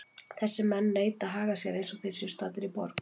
Þessir menn neita að haga sér eins og þeir séu staddir í borg.